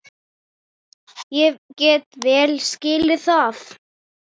Ég get vel skilið það.